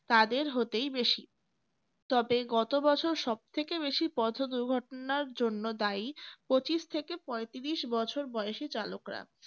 তাদের হতেই বেশি তবে গত বছর সবথেকে বেশি পথ দুর্ঘটনার জন্য দায়ী পঁচিশ থেকে পঁয়ত্রিশ বছর বয়সের চালকরা